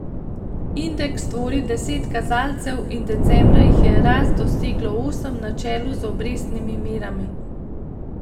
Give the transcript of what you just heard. Indeks tvori deset kazalcev in decembra jih je rast doseglo osem, na čelu z obrestnimi merami.